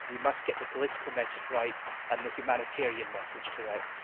We must get the political message right, and the humanitarian message correct.